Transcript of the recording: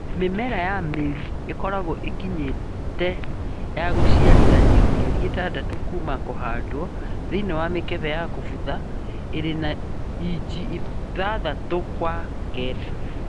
Mĩmera ya mĩri ikoragwo ĩkinyĩte ya gũciarithanio mĩeri ĩtandatũ kuuma kũhandwo thĩinĩ wa mĩkebe ya kũbutha ĩri na inji ithathatũ kwa kenda